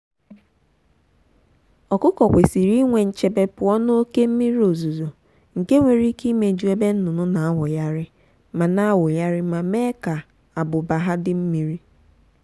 ọkụkọ kwesiri inwe nchebe pụọ n'oké mmiri ozuzo nke nwere ike imeju ebe nnụnụ na-awụgharị ma na-awụgharị ma mee ka ábụ́b́a ha dị mmiri.